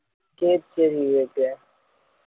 சரி சரி okay